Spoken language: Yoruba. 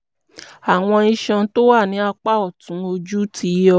àwọn iṣan tó wà ní apá ọ̀tún ojú ti yọ